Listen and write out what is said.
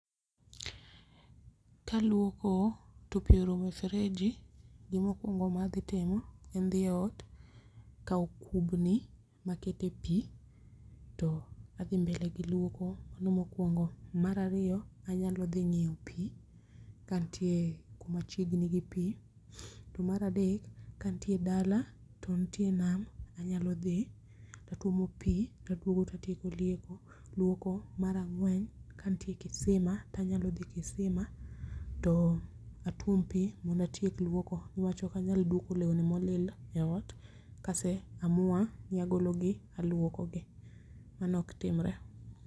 Kaluoko to pi orumo e fereji, gimokuongo madhi timo en dhi e ot, kao kubni makete pi to adhi mbele gi luoko. Mano mkowongo. Mar ariyo, anyalo dhi ng'iyo pi ka ntie kuma chiegni gi pi. To mar adek, kantie dala, to ntie nam, anyalo dhi tatuomo pi taduogo tatieko luoko. Mar ang'wen, kantie kisima, tanyalo dhi kisima, to atuom pi mondo atiek luoko niwach okanyal duoko lewni molil eot kase amua ni agologi aluokogi. Mano ok timre.